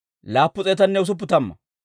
Bigiwaaya yaratuu 2,056.